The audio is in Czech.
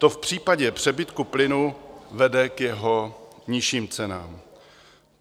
To v případě přebytku plynu vede k jeho nižším cenám.